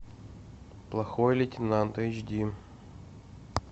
плохой лейтенант эйч ди